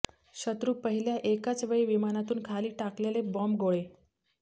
शत्रू पहिल्या एकाच वेळी विमानातून खाली टाकलेले बॉम्बगोळे